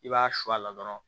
I b'a su a la dɔrɔn